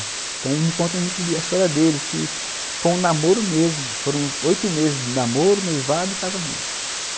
Então eles me contam muito da história deles, que foi um namoro mesmo, foram oito meses de namoro, noivado e casamento.